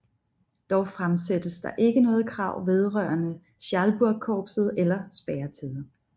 Dog fremsættes der ikke noget krav vedrørende Schalburgkorpset eller spærretider